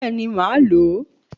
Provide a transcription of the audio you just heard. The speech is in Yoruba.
Bẹ́ẹ̀ni màá lò ó